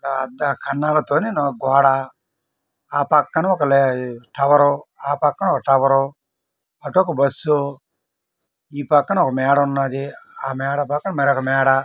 ఆ అద్దాల కన్నలలోనే ఒక గోడ ఆ పక్కన ఒక టవర్ ఆ పక్కన ఒక టవర్ అటు ఒక బస్సు ఈ పక్కన ఒక మేడ ఉన్నదీ ఆ మేడ పక్కన మరొక మేడ--